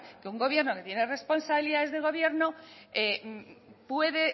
que un gobierno que tiene responsabilidades de gobierno puede